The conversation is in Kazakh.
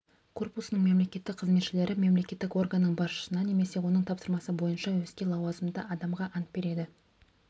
корпусының мемлекеттік қызметшілері мемлекеттік органның басшысына немесе оның тапсырмасы бойынша өзге лауазымды адамға ант береді